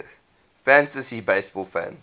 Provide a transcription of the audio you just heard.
fantasy baseball fans